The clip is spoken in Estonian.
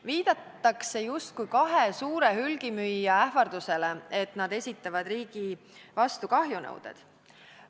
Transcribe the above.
Viidatakse justkui kahe suure hulgimüüja ähvardusele, et nad esitavad riigi vastu kahjunõuded.